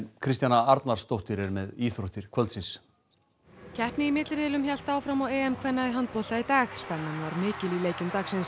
Kristjana Arnarsdóttir er með íþróttir kvöldsins keppni í milliriðlinum hélt áfram á EM kvenna í handbolta í dag spennan var mikil í leikjum dagsins